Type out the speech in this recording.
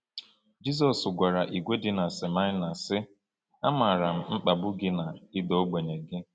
Jizọs gwara ìgwè dị na Smyrna, sị: “Amaara m mkpagbu gị na ịda ogbenye gị.”